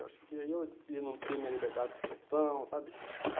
Eu achei que eu ia não ter minha liberdade de expressão, sabe?